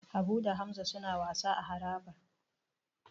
Habu da Hamza suna wasa a harabar.